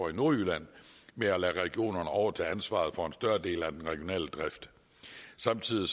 i nordjylland med at lade regionerne overtage ansvaret for en større del af den regionale drift samtidig